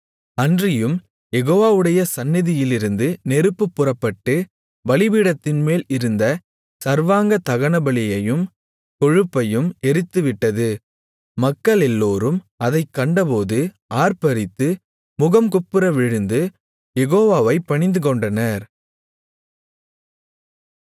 அன்றியும் யெகோவாவுடைய சந்நிதியிலிருந்து நெருப்பு புறப்பட்டு பலிபீடத்தின்மேல் இருந்த சர்வாங்க தகனபலியையும் கொழுப்பையும் எரித்துவிட்டது மக்களெல்லோரும் அதைக் கண்டபோது ஆர்ப்பரித்து முகங்குப்புற விழுந்து யெகோவாவைப் பணிந்துகொண்டனர்